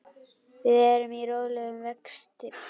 Við erum í rólegum vexti.